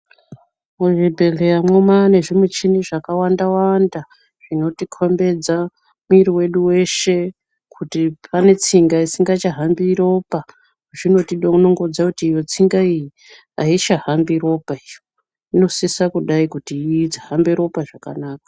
Muzvibhedhlera manezvimuchini zvakawanda wanda zvinotikombedza muyiri wedu weshe kuti panetsinga isingachahambi ropa. Muchini unokudza kuti iyi tsinga ayichahambi ropa iyo. Inosisa kudai kuti ihambe ropa zvakanaka.